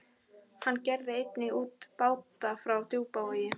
Hann gerði einnig út báta frá Djúpavogi.